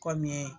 Kɔmi